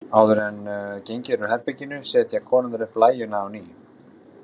Áður en gengið er út úr herberginu setja konurnar upp blæjuna á ný.